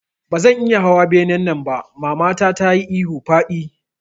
Bazan iya hawa benen nan ba mamata tayi ihun faɗi